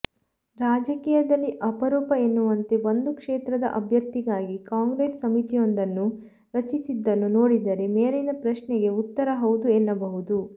ರಾಜಕೀಯದಲ್ಲಿ ಅಪರೂಪ ಎನ್ನುವಂತೆ ಒಂದು ಕ್ಷೇತ್ರದ ಅಭ್ಯರ್ಥಿಗಾಗಿ ಕಾಂಗ್ರೆಸ್ ಸಮಿತಿಯೊಂದನ್ನು ರಚಿಸಿದ್ದನ್ನು ನೋಡಿದರೆ ಮೇಲಿನ ಪ್ರಶ್ನೆಗೆ ಉತ್ತರ ಹೌದು ಎನ್ನಬಹುದು